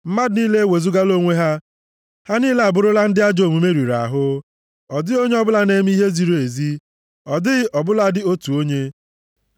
Mmadụ niile ewezugala onwe ha, ha niile abụrụla ndị ajọ omume riri ahụ; ọ dịghị onye ọbụla na-eme ihe ziri ezi, ọ dịghị ọ bụladị, otu onye.